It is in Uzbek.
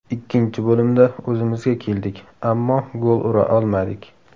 Ikkinchi bo‘limda o‘zimizga keldik, ammo gol ura olmadik.